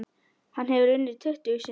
Hann hefur unnið tuttugu sinnum.